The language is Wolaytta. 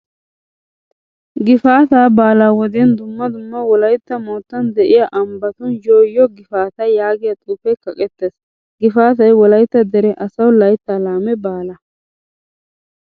Gifaataa baalaa wodiyan dumma dumma Wolaytta moottan de'iyaa ambbatun "yoo yoo gifaataa" yaagiya xuufee kaqqettees . Gifaatay Wolaytta dere asawu layttaa laame baala.